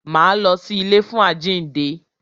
Máa lọ sí ilé fún àjínde.